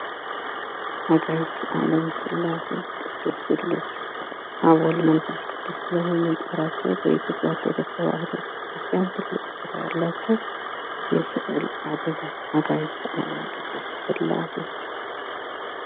አጋዕዝተ አለም ስላሴ ቅዱስ ስሉስ አብ ወወልድ ወመንፈስ ቅዱስ ብለን የምንጠራቸው በኢትዮጵያ ኦርቶዶክስ ተዋህዶ ቤተክርስቲያን ትልቅ ቦታ ያላቸው የስዕል አድኖ። አጋዕዝተ ዓለም ቅድስት ስላሴ።